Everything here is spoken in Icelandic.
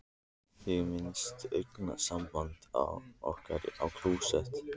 Ég minnist augnsambands okkar í klósett